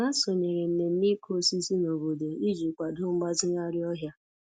Ha sonyere mmemme ịkụ osisi nobodo iji kwado mgbazigharị ọhịa.